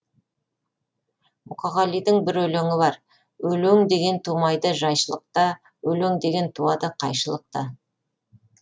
мұқағалидың бір өлеңі бар өлең деген тумайды жайшылықта өлең деген туады қайшылықта